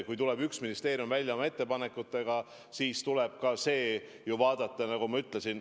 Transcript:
Kui üks ministeerium oma ettepanekutega välja tuleb, siis tuleb neid ju analüüsida.